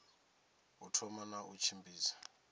u thoma na u tshimbidza